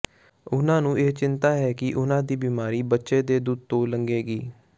ਉਨ੍ਹਾਂ ਨੂੰ ਚਿੰਤਾ ਹੈ ਕਿ ਉਨ੍ਹਾਂ ਦੀ ਬੀਮਾਰੀ ਬੱਚੇ ਦੇ ਦੁੱਧ ਤੋਂ ਲੰਘੇਗੀ